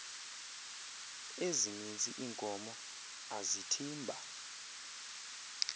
ezininzi iinkomo azithimba